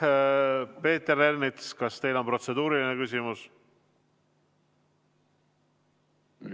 Peeter Ernits, kas teil on protseduuriline küsimus?